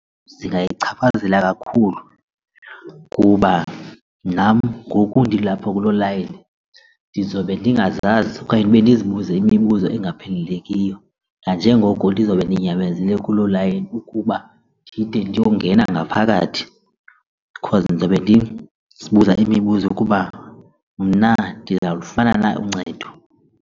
Zingayichaphazela kakhulu kuba nam ngoku ndilapha kulo layini ndizobe ndingazazi okanye ndibe ndizibuze imibuzo engaqhelekiyo nanjengoko ndizobe ndinyamezele kulo layini ukuba ndide ndiyongena ngaphakathi because ndizawube ndizibuza imibuzo kuba mna ndizawulufana na uncedo.